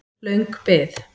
Löng bið